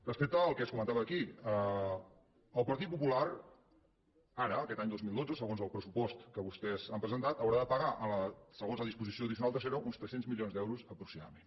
respecte al que es comentava aquí el partit popular ara aquest any dos mil dotze segons el pressupost que vostès han presentat haurà de pagar segons la disposició addicional tercera uns tres cents milions d’euros aproximadament